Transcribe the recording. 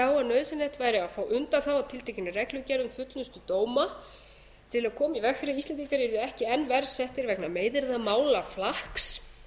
að nauðsynlegt væri að fá undanþágu frá tiltekinni reglugerð m fullnustu dóma til að koma í veg fyrir að íslendingar yrðu ekki enn